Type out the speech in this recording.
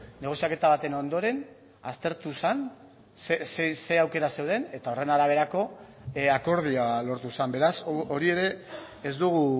negoziaketa baten ondoren aztertu zen zein aukera zeuden eta horren araberako akordioa lortu zen beraz hori ere ez dugu